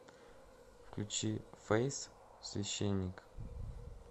включи фэйс священник